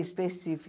Específica.